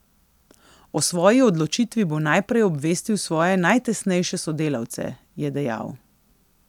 O svoji odločitvi bo najprej obvestil svoje najtesnejše sodelavce, je dejal.